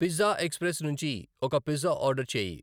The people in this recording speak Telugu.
పిజ్జా ఎక్స్ప్రెస్ నుంచి ఒక పిజ్జా ఆర్డర్ చేయి